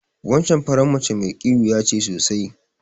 Wancan faran mace mai ƙiwuya ce sosai.